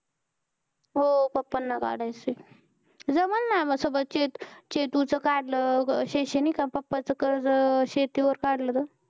हो papa ना काढायचंय. जमलं ना ग सगळं. चे चेतुचं काढलं अं शैक्षणिक papa चं कर्ज शेतीवर काढलं तर.